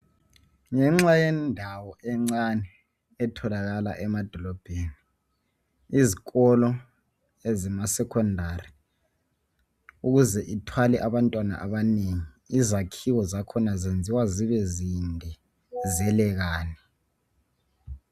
Ngenxayendawo encane etholakala emadolobheni, izikolo ezemasecondary ukuze ithwale abantwana abanengi, izakhiwo zakhona zenziwa zibe zinde zelelane.